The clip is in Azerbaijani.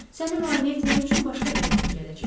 Səni müayinə etmək üçün başqa bir həkim gələcək.